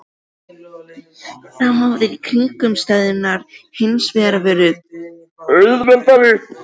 Þá höfðu kringumstæðurnar hins vegar verið auðveldari.